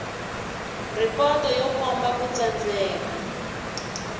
ripoto yo komba ku tsandzeka